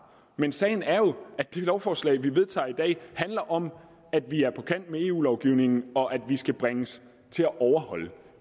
men sagen er jo at det lovforslag vi vedtager i dag handler om at vi er på kant med eu lovgivningen og at vi skal bringes til at overholde